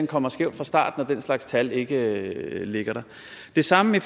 kommer skævt fra start når den slags tal ikke ligger der det samme